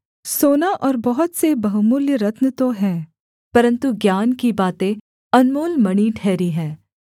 सोना और बहुत से बहुमूल्य रत्न तो हैं परन्तु ज्ञान की बातें अनमोल मणि ठहरी हैं